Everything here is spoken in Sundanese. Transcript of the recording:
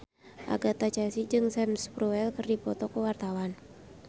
Agatha Chelsea jeung Sam Spruell keur dipoto ku wartawan